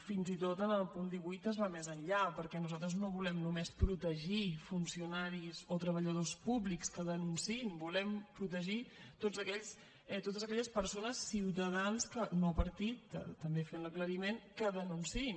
fins i tot en el punt divuit es va més enllà perquè nosaltres no volem només protegir funcionaris o treballadors públics que denunciïn volem protegir totes aquelles persones ciutadans no partits també fem l’aclariment que denunciïn